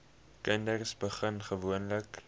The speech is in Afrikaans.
kinders begin gewoonlik